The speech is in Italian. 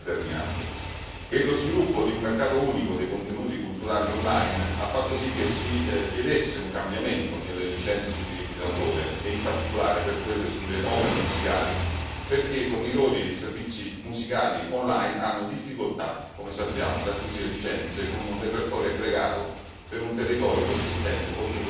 Lo sviluppo di un mercato unico dei contenuti culturali online ha fatto sì che si chiedesse un cambiamento nelle licenze sui diritti d'autore e in particolare per quelle sulle opere musicali, perché i fornitori di servizi musicali online hanno difficoltà, come sappiamo, ad acquisire licenze con un repertorio aggregato per un territorio che si estende oltre quello di uno Stato membro.